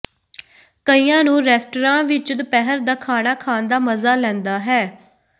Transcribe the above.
ਕਈਆਂ ਨੂੰ ਰੈਸਟਰਾਂ ਵਿਚ ਦੁਪਹਿਰ ਦਾ ਖਾਣਾ ਖਾਣ ਦਾ ਮਜ਼ਾ ਲੈਂਦਾ ਹੈ